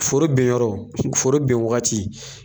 Foro ben yɔrɔ foro ben waati